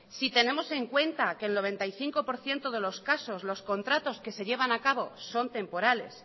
si tenemos en cuenta que el noventa y cinco por ciento de los casos los contratos que se llevan a cabo son temporales